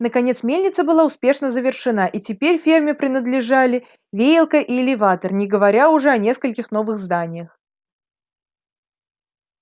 наконец мельница была успешно завершена и теперь ферме принадлежали веялка и элеватор не говоря уж о нескольких новых зданиях